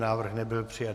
Návrh nebyl přijat.